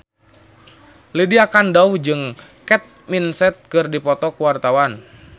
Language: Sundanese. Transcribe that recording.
Lydia Kandou jeung Kate Winslet keur dipoto ku wartawan